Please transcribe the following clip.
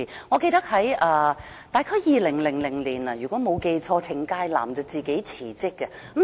我記得大約在2000年，如果沒有記錯，程介南自行辭職。